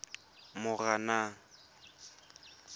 moranang